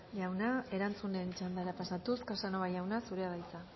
jauna erantzunen txandara pasatuz casanova jauna zurea da hitza